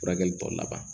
Furakɛli tɔ laban